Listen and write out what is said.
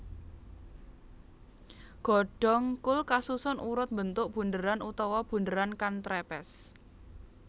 Godhong kul kasusun urut mbentuk bunderan utawa bunderan kan trepes